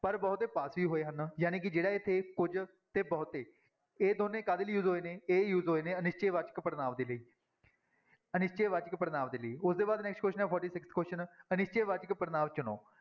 ਪਰ ਬਹੁਤੇ ਪਾਸ ਵੀ ਹੋਏ ਹਨ, ਜਾਣੀ ਕਿ ਜਿਹੜਾ ਇੱਥੇ ਕੁਝ ਤੇ ਬਹੁਤੇ ਇਹ ਦੋਨੇਂ ਕਾਹਦੇ ਲਈ use ਹੋਏ ਨੇ, ਇਹ use ਹੋਏ ਨੇ ਅਨਿਸ਼ਚੈ ਵਾਚਕ ਪੜ੍ਹਨਾਂਵ ਦੇ ਲਈ ਅਨਿਸ਼ਚੈ ਵਾਚਕ ਪੜ੍ਹਨਾਂਵ ਦੇ ਲਈ, ਉਹਦੇ ਬਾਅਦ next question ਹੈ forty-sixth question ਅਨਿਸ਼ਚੈ ਵਾਚਕ ਪੜ੍ਹਨਾਂਵ ਚੁਣੋ